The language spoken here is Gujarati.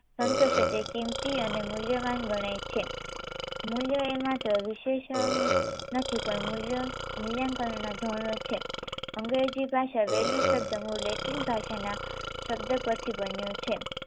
સંતોષે તે કીમતી અને મૂલ્યવાન ગણાય છે. મૂલ્ય એ માટે વિશેષહ નથી પણ મૂલ્ય મૂલ્યાંકનોના ધર્મ છે. અંગ્રેજી ભાષા value શબ્દ મૂળ લેટિન ભાષાના શબ્દ પરથી બન્યો છે